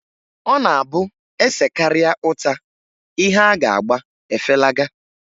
Ọ na-abụ e sekarịa uta, ihe a ga-agba efelaga.